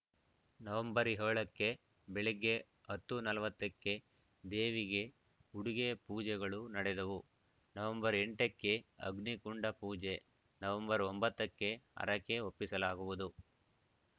November ಏಳೋ ಕ್ಕೆ ಬೆಳಗ್ಗೆ ಹತ್ತು ನಲವತ್ತ ಕ್ಕೆ ದೇವಿಗೆ ಉಡುಗೆ ಪೂಜೆಗಳು ನಡೆದವು ನವೆಂಬರ್ ಎಂಟ ಕ್ಕೆ ಅಗ್ನಿಕುಂಡ ಪೂಜೆ ನವೆಂಬರ್ ಒಂಬತ್ತ ಕ್ಕೆ ಹರಕೆ ಒಪ್ಪಿಸಲಾಗುವುದು